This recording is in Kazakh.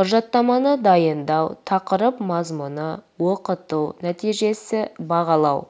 құжаттаманы дайындау тақырып мазмұны оқыту нәтижесі бағалау